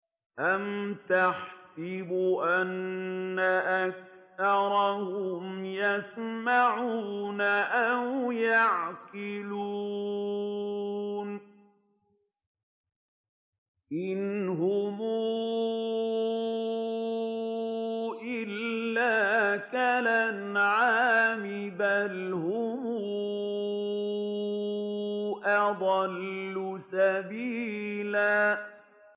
أَمْ تَحْسَبُ أَنَّ أَكْثَرَهُمْ يَسْمَعُونَ أَوْ يَعْقِلُونَ ۚ إِنْ هُمْ إِلَّا كَالْأَنْعَامِ ۖ بَلْ هُمْ أَضَلُّ سَبِيلًا